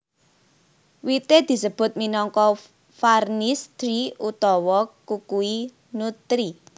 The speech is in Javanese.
Wité disebut minangka varnish tree utawa kukui nut tree